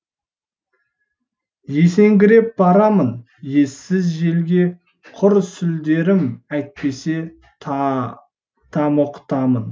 есеңгіреп барамын ессіз желге құр сүлдерім әйтпесе тамұқтамын